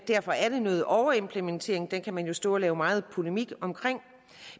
derfor er det noget overimplementering og det kan man jo stå og lave meget polemik om